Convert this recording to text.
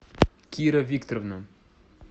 кира викторовна